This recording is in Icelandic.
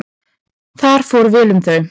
Þar fór vel um þau.